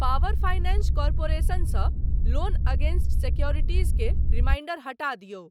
Power finance corporation सँ loan against securities के reminder हटा दियौ।